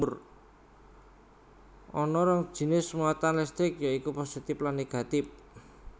Ana rong jinis muatan listrik ya iku positif lan negatif